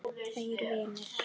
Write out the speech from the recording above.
Tveir vinir